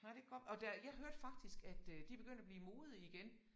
Ej det kan godt og der jeg hørte faktisk at øh de begyndt at blive mode igen